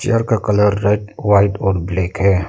Chair का colour red white और black है।